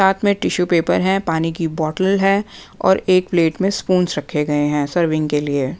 साथ में tissue paper हैं पानी की बोतल हैं और एक प्लेट में स्पून रखे गए हैं सर्विंग के लिए--